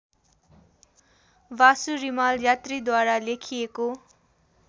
वासु रिमाल यात्रीद्वारा लेखिएको